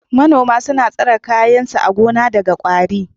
Manoma suna tsare kayan su a gona daga ƙwari.